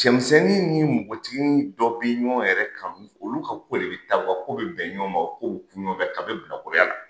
Cɛmisɛnnin ni nbɔgɔtiginin dɔ bi ɲɔn yɛrɛ kanu olu ka ko de bɛ taa u ka ko be bɛn ɲɔn ma u ka ko be ku ɲɔn fɛ kabi bilakɔrɔya la